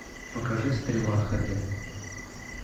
покажи стрела хд